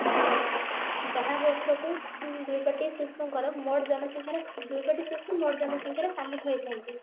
ଯାହା ବର୍ଷକୁ ତିନି ଦୁଇ କୋଟି ଶିଶୁଙ୍କର ମୋଟ ଜନସଂଖ୍ୟାର ଦୁଇ କୋଟି ଶିଶୁ ମୋଟ ଜନସଂଖ୍ୟା ର ସାମିଲ ହେଇଥାନ୍ତି